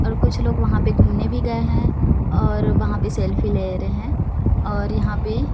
और कुछ लोग वहाँ पे घुमने भी गये है और वहाँ पे सेल्फी ले रहे है और यहाँ पे--